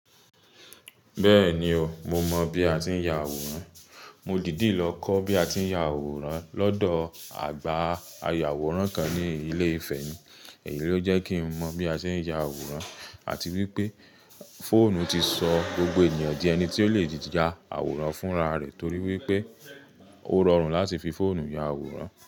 Bẹ́ẹ̀ni o, mo mọ̀ bí a ti ń ya àwòrán. Mo dìdí lọ kọ́ bí a ti ń ya àwòrán lọ́dọ̀ àgbà ayàwòrán kan ní ilé ìfẹ́ mi, èyí ló jẹ́ kí n mọ̀ bí a ṣe ń ya àwòrán àti wípé fóònù ti sọ gbogbo ènìyàn di ẹni tí ó lè ya àwòrán fún ra rẹ̀ torí wípé ó rọrùn láti fi fóònù ya àwòrán.